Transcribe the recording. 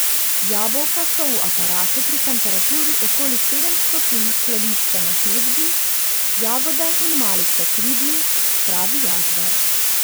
Jabolka so v aparatu pri temperaturi okoli sedem stopinj skladiščena pet dni, jagode in malice tri dni, pravi Jazbar.